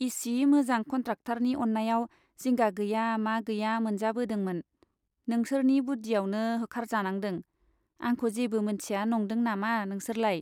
इसि मोजां कन्ट्राक्टरनि अन्नायाव जिंगा गैया मा गैया मोनजाबोदोंमोन , नोंसोरनि बुद्दियावनो होखारजानांदों , आंखौ जेबो मोनथिया नंदों नामा नोंसोरलाय ?